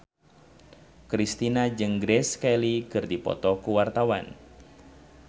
Kristina jeung Grace Kelly keur dipoto ku wartawan